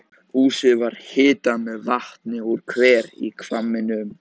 Húsið var hitað með vatni úr hver í hvamminum.